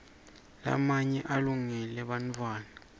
lamaye alungele bantfuara